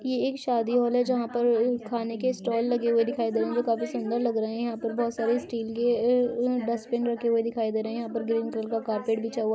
ये एक शादी हॉल है जहां पर उ खाने के स्टाल लगे हुए दिखाई ड़ रहे काफी सुन्दर लग रहे हैं | यहां पर काफी स्टील के अ उ डस्ट्बिन रखे हुए दिखाई दे रहे है | यहां पर ग्रीन कलर क-कारपेट बिछा हुआ --